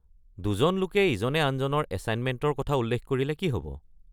দুজন লোকে ইজনে আনজনৰ এছাইনমেণ্টৰ পৰা উল্লেখ কৰিলে কি হব?